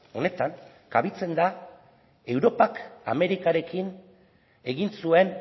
honetan kabitzen da europak amerikarekin egin zuen